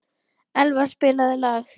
Elva, spilaðu lag.